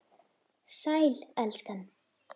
Sæl, elskan.